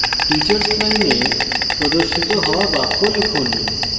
teachers line প্রদর্শিত হওয়া বাক্য লিখুন